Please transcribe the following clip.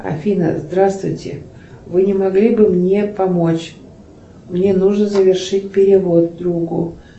афина здравствуйте вы не могли бы мне помочь мне нужно завершить перевод другу